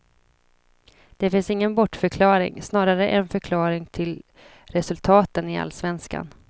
Det är ingen bortförklaring, snarare en förklaring till resultaten i allsvenskan.